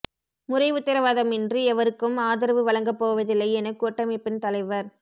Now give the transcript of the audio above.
முறை உத்தரவாதமின்றி எவருக்கும் ஆதரவு வழங்க போவதில்லை என கூட்டமைப்பின் தலைவர்